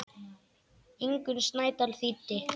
Ingunn Snædal þýddi.